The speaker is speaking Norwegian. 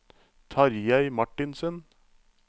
Tarjei Martinsen